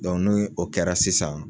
ni o kɛra sisan